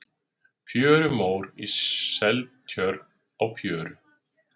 Fjörumór í Seltjörn á fjöru.